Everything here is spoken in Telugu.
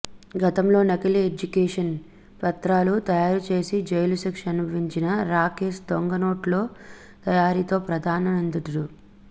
గతంలో నకిలీ ఎడ్యుకేషన్ పత్రాలు తయారుచేసి జైలు శిక్ష అనుభవించిన రాకేష్ దొంగ నోట్ల తయారీలో ప్రధాన నిందితుడు